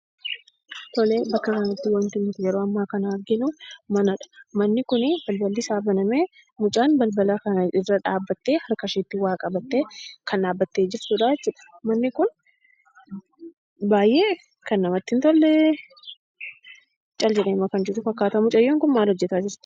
Tole bakka kanatti wanti nuti yeroo ammaa kana arginuu manadha. Manni kuni balballisaa banamee mucaan balballarra dhaabbattee harkasheeetti waa qabattee kan dhaabbattee jirtudhaa jechuudha. Manni kun baayyee kan namatti hin tole cal jedheetuma kan jiru fakkaata mucayyoon kun maal gochaa jirti?